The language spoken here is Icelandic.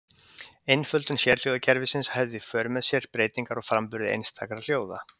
Einföldun sérhljóðakerfisins hafði í för með sér breytingar á framburði einstakra hljóða.